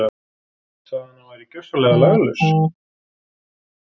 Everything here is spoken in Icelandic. Sagði að hann væri gjörsamlega laglaus.